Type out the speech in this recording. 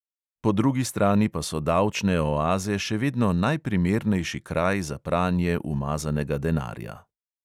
Po drugi strani pa so davčne oaze še vedno najprimernejši kraj za pranje umazanega denarja.